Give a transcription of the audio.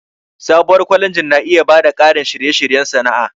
Sabuwar kwalejin na iya ba da ƙarin shirye-shiryen sana'a.